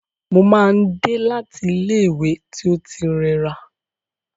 Mo máa n dé láti ilẹ ìwé tí o ti rẹra.